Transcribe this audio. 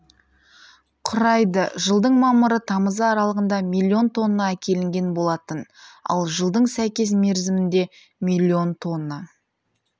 құрайды жылдың мамыры тамызы аралығында миллион тонна әкелінген болатын ал жылдың сәйкес мерзімінде миллион тонна